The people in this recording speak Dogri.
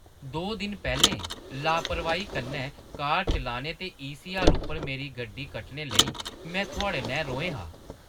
दो दिन पैह्‌लें लापरवाही कन्नै कार चलाने ते ईसीआर उप्पर मेरी गड्डी कट्टने लेई में थुआढ़े नै रोहें हा।